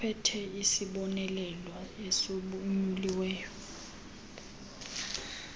ophethe isibonelelo esonyuliweyo